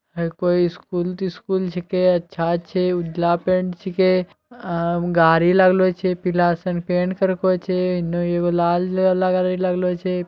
है कोय स्कूल - तिस्कूल छकै। अच्छा छै उजला पेंट छेके। अ गाड़ी लागलो छे पीला सन पेंट करको छे। इनने एगो लाल लेला गाड़ी लगलो छे।